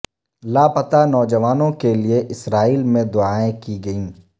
لاپتہ نوجوانوں کے لیے اسرائیل میں دعائیں کی گئیں